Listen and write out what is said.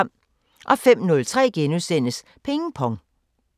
05:03: Ping Pong *